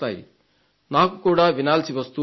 నాకు కూడా వినాల్సి వస్తూ ఉంటుంది